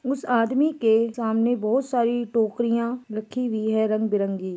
उस आदमी के सामने बहुत सारी टोकरियां रखी हुई है रंग बिरंगी--